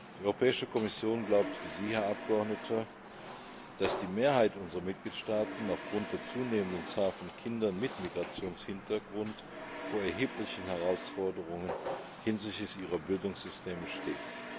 Die Europäische Kommission glaubt, wie Sie, Herr Abgeordneter, dass die Mehrheit unserer Mitgliedstaaten aufgrund der zunehmenden Zahl von Kindern mit Migrationshintergrund vor erheblichen Herausforderungen hinsichtlich ihrer Bildungssysteme steht.